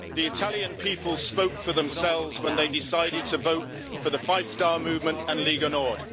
The Italian people spoke for themselves when they decided to vote for the Five Star Movement and Lega Nord.